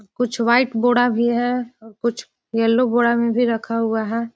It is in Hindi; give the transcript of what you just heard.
कुछ व्हाइट बोड़ा भी है और कुछ येलो बोरा में भी रखा हुआ है।